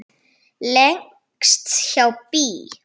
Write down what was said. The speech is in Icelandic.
Lengst hjá BÍ.